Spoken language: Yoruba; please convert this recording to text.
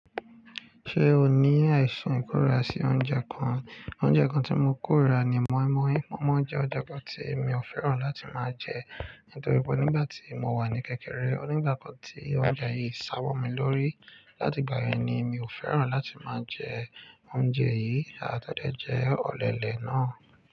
Ṣé o ní àìsàn ìkóra sí oúnjẹ kan? Oúnjẹ kan tí mo kórira ni moinmoin. Moinmoin jẹ́ oúnjẹ kan tí mi ò fẹ́ràn láti máa jẹ nítorí pé nígbà tí mo wà ní kékeré, onígbákàn tí oúnjẹ yìí sáwọ̀ mi lórí. Láti ìgbà yẹn ni mi ò fẹ́ràn láti máa jẹ oúnjẹ yìí, àtẹ́ dẹ́ jẹ́ ọ̀lẹ́lẹ̀ náà.